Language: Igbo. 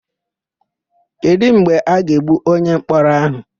Kedụ mgbe a ga-egbu onyemkpọrọ áhụ̀?